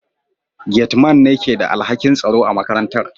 Gate Man ne ke da alhakin tsaro a makarantar